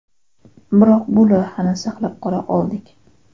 Biroq bu loyihani saqlab qola oldik.